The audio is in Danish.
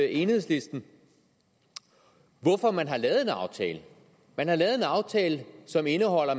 enhedslisten hvorfor man har lavet en aftale man har lavet en aftale som indeholder at